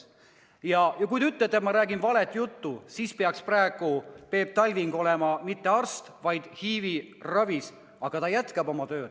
Ja kui te ütlete, et ma räägin valet juttu, siis ei peaks Peep Talving praegu olema mitte arst, vaid HIV-i ravis, aga ta jätkab oma tööd.